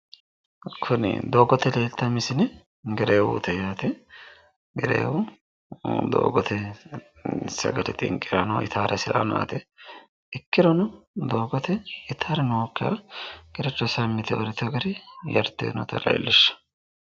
Kuni doogote leeltaae misile gereewuute yaate, gereewu doogote sagale xinqiranni itaare hasiranni no yaate, ikkirono doogote itaari nookkiha gerecho sammi yite uurritewo gari yarte noota leellishaa.